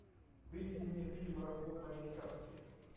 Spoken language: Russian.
выведи мне фильм развод по американски